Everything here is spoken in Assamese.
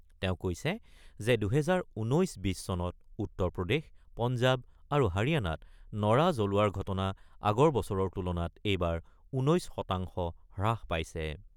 তেওঁ কৈছে যে ২০১৯-২০ চনত উত্তৰ প্ৰদেশ, পঞ্জাৱ আৰু হাৰিয়ানাত নৰা জ্বলোৱাৰ ঘটনা আগৰ বছৰৰ তুলনাত এইবাৰ ১৯ শতাংশ হ্ৰাস পাইছে।